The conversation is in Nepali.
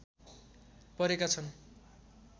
परेका छन्